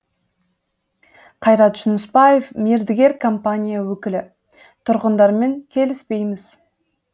қайрат жүнісбаев мердігер компания өкілі тұрғындармен келіспейміз